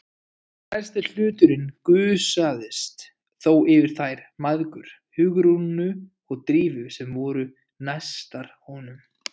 Stærsti hlutinn gusaðist þó yfir þær mæðgur, Hugrúnu og Drífu, sem voru næstar honum.